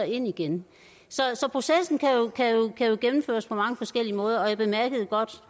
ind igen så processen kan jo gennemføres på mange forskellige måder og jeg bemærkede godt